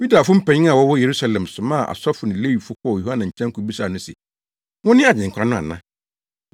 Yudafo mpanyin a wɔwɔ Yerusalem somaa asɔfo ne Lewifo kɔɔ Yohane nkyɛn kobisaa no se, “Wone Agyenkwa no ana?”